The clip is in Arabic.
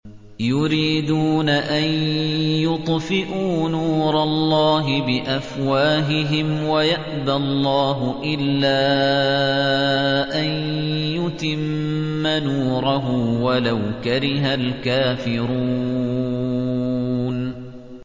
يُرِيدُونَ أَن يُطْفِئُوا نُورَ اللَّهِ بِأَفْوَاهِهِمْ وَيَأْبَى اللَّهُ إِلَّا أَن يُتِمَّ نُورَهُ وَلَوْ كَرِهَ الْكَافِرُونَ